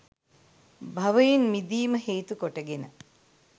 භවයෙන් මිදීම හේතුකොට ගෙන